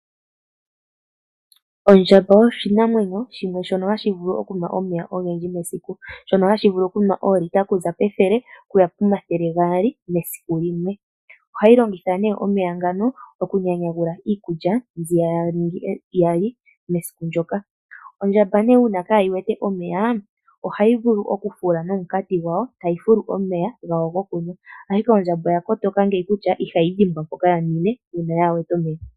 Ondjamba oyo oshinamwenyo shimwe shono hashi vulu okunwa omeya ogendji mesiku. Shono hashi vulu okunwa oolita okuza pethele okuya pomathele gaali mesiku limwe. Ohayi longitha nee omeya ngano okunyanyagula iikulya mbi ya li mesiku ndoka. Ondjamba nee uuna kaayi wete omeya, ohayi vulu oku fula nomukati gwayo, tayi fulu omeya gawo gokunwa. Ashike ondjamba oya kotoka ngeyi kutya ihayi dhimbwa mpoka ya ninwe uuna yaa wete omeya.